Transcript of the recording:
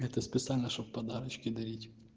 это специально чтобы подарочки дарить